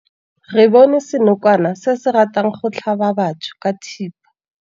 Re bone senokwane se se ratang go tlhaba batho ka thipa.